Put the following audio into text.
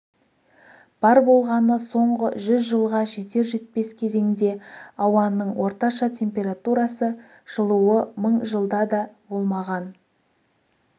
бар болғаны соңғы жүз жылға жетер-жетпес кезеңде ауаның орташа температурасы жылуы мың жылда да болмаған